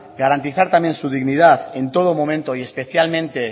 garantizar también su dignidad en todo momento y especialmente